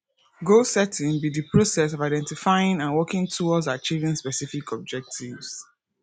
goal setting be di process of identifying and working towards achieving specific objectives